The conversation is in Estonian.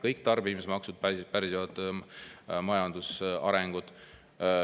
Kõik tarbimismaksud pärsivad majanduse arengut.